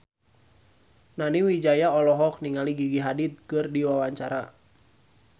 Nani Wijaya olohok ningali Gigi Hadid keur diwawancara